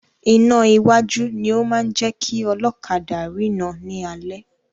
Iná iwájú ni o máa ń jẹ́ kí ọlọ́kadà rina ni alẹ́.